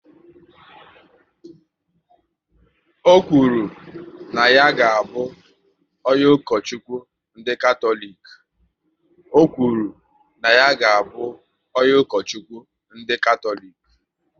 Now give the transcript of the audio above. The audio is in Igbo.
Ọ kwuru na ya ga abụ onye Ukochukwu ndị Katọlik